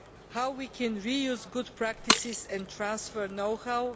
How can we reuse good practices, and transfer know how?